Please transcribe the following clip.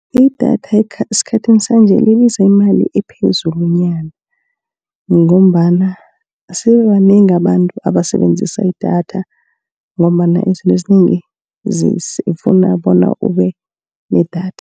Idatha esikhathini sanje libiza imali ephezulunyana. Ngombana sebabanengi abantu abasebenzisa idatha, ngombana izinto ezinengi zifuna bona ube nedatha.